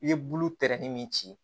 I ye bulu tɛrɛnni min ci